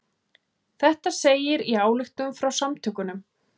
Þetta segir í ályktun frá samtökunum